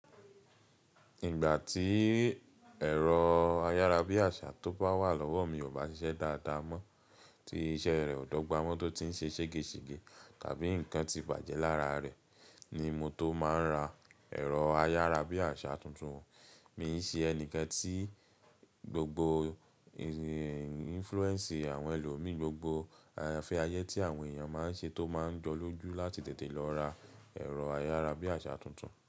Ìgbà tí ẹ̀rọ ayárabíàṣá tó bá wà lọ́wọ́ mi ò bá ṣiṣẹ́ dáadáa mọ́, tí iṣẹ́ rẹ̀ ò dọ́gba mọ́ tó ti ń ṣe ṣègeṣège àbí nǹkan ti bàjẹ́ lára rẹ̀ ni mo tó máa ń ra ẹ̀rọ ayárabíàṣá tuntun. Mi ń ṣe ẹni kan tí gbogbo influence àwọn ẹlòmíì, gbogbo afẹ́ ayé tí àwọn èèyàn máa ń ṣe tó máa ń jọlọ́jú láti tètè lọ ra ẹ̀rọ ayárabíàṣá tuntun.